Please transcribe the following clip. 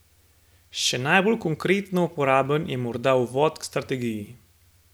Še najbolj konkretno uporaben je morda uvod k strategiji.